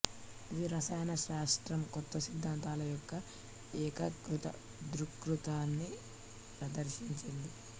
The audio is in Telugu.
ఇది రసాయన శాస్త్రం కొత్త సిద్ధాంతాల యొక్క ఏకీకృత దృక్పథాన్ని ప్రదర్శించింది